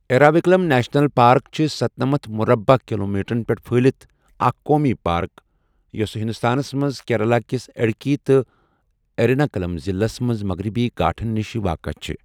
Eravikulam national park چُھ ستنمتھ مُربعہٕ کِلومیٖٹرن پیٹھ پھہلِتھ اكھ قومی پارك یُس ہنٛدوستانَس مَنٛز کیرلَہ کِس اِڈكی تہٕ اِیرِناکُلَم ضِلعَس مَنٛز مغربی گھاٹھن نِشہِ واقع چھِ ۔